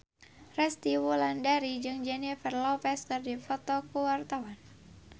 Resty Wulandari jeung Jennifer Lopez keur dipoto ku wartawan